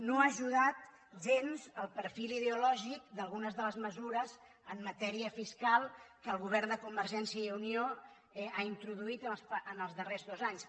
no hi ha ajudat gens el perfil ideològic d’algunes de les mesures en matèria fiscal que el govern de convergència i unió ha introduït en els darrers dos anys